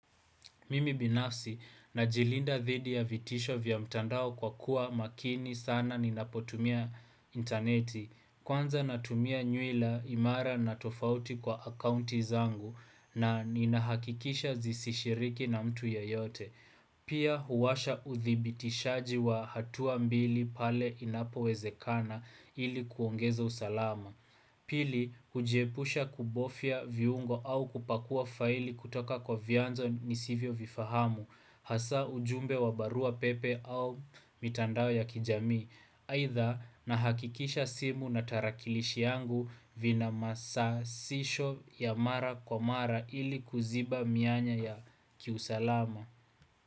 Mimi binafsi, najilinda dhidi ya vitisho vya mtandao kwa kuwa makini sana ninapotumia interneti. Kwanza natumia nyuila imara na tofauti kwa akaunti zangu na ninahakikisha zisishiriki na mtu yeyote. Pia huwasha uthibitishaji wa hatua mbili pale inapo wezekana ili kuongeza usalama. Pili, hujiepusha kubofia viungo au kupakua faili kutoka kwa vianzo nisivyo vifahamu, hasa ujumbe wa barua pepe au mitandao ya kijamii, aidha nahakikisha simu na tarakilishi yangu vina masasisho ya mara kwa mara ili kuziba mianya ya kiusalama.